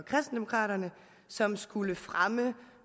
som skulle fremme